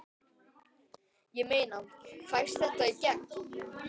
Ég meina, fæst þetta í gegn?